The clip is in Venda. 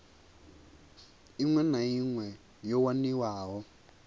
iṅwe na iṅwe yo waniwaho